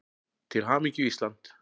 Til hamingju Ísland.